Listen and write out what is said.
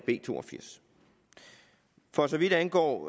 b to og firs for så vidt angår